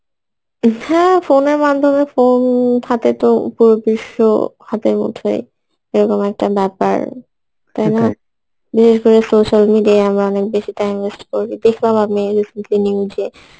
হম হ্যাঁ ফোনের মাধ্যমে phone হাতে তো পুরো বিশ্ব হাতের মুঠোয় এরকম একটা ব্যাপার তাই না? বিশেষ করে social media আমরা অনেক বেশী time waste করবে দেখলাম আমি news এ